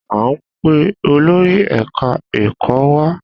A n pe olórí ẹka ẹkọ wa